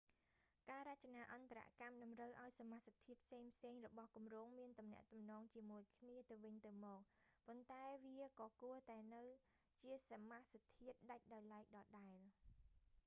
ការរចនាអន្តរកម្មតម្រូវឱ្យសមាសធាតុផ្សេងៗរបស់គម្រោងមានទំនាក់ទំនងជាមួយគ្នាទៅវិញទៅមក ប៉ុន្តែវាក៏គួរតែនៅជាសមាសធាតុដាច់ដោយឡែកដដែល